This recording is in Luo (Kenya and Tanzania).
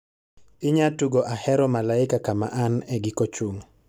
inya tugo ahero malaika kama an e giko chung